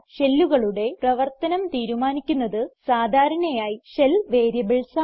ഷെല്ലുകളുടെ പ്രവർത്തനം തീരുമാനിക്കുന്നത് സാധാരണയായി ഷെൽ വേരിയബിൾസ് ആണ്